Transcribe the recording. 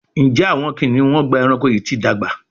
Njé Awọn kiniun Ọgbà ẹranko yi ti dàgbà?